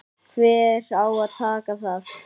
Hver á að taka það?